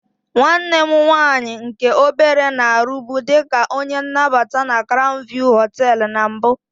Nwanne m nwaanyị nke obere na-arụbu dị ka onye nnabata na crown view hoteelu na mbụ.